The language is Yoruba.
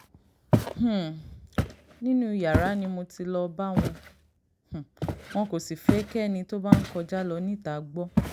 um nínú yàrá ni mo ti lọ́ọ bá wọn um wọ́n kò sì fẹ́ kẹ́ni tó bá ń kọjá lọ níta gbọ́